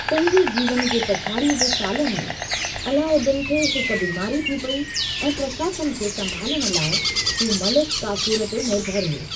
पंहिंजे जीवन जे पछाड़ीअ जे सालनि में अलाउद्दीन खे हिकु बीमारी थी पेई ऐं प्रशासन खे संभालण लाइ हू मलिक काफूर ते निर्भर हो।